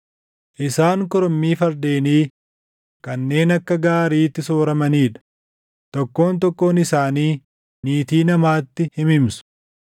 Isaan korommii fardeenii kanneen akka gaariitti sooramanii dha; tokkoon tokkoon isaanii niitii namaatti himimsu.